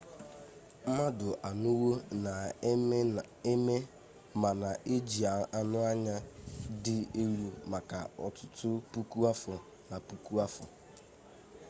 mmadụ anọwo na-eme ma na-eji anụ anya dị elu maka ọtụtụ puku afọ na puku afọ